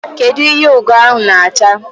Kedu ihe Ugo ahụ na-acha?